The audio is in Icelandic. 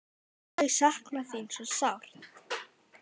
Þau sakna þín svo sárt.